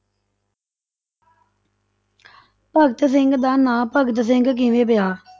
ਭਗਤ ਸਿੰਘ ਦਾ ਨਾਂ ਭਗਤ ਸਿੰਘ ਕਿਵੇਂ ਪਿਆ?